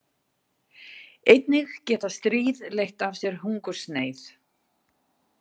Einnig geta stríð leitt af sér hungursneyð.